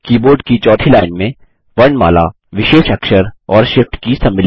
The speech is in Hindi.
कीबोर्ड की चौथी लाइन में वर्णमाला विशेष अक्षर और shift की सम्मिलित हैं